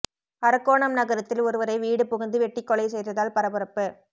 அரக்கோணம் நகரத்தில் ஒருவரை வீடு புகுந்து வெட்டிக் கொலை செய்ததால் பரபரப்பு